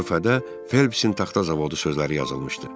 Lövhədə Felpsin taxta zavodu sözləri yazılmışdı.